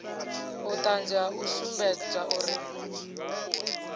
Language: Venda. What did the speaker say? vhuṱanzi ha u sumbedza uri